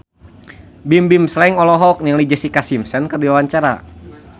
Bimbim Slank olohok ningali Jessica Simpson keur diwawancara